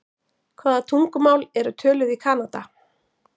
Hvaða tungumál eru töluð í Kanada?